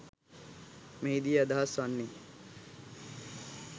මෙහිදී අදහස් වන්නේ